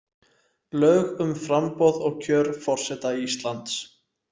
Lög um framboð og kjör forseta Íslands.